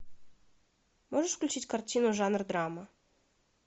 можешь включить картину жанра драма